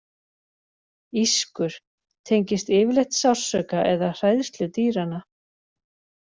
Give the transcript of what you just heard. Ískur: tengist yfirleitt sársauka eða hræðslu dýranna.